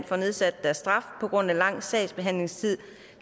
får nedsat deres straf på grund af lang sagsbehandlingstid